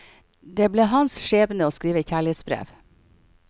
Det ble han skjebne å skrive kjærlighetsbrev.